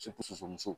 muso